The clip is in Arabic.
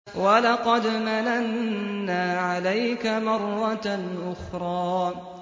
وَلَقَدْ مَنَنَّا عَلَيْكَ مَرَّةً أُخْرَىٰ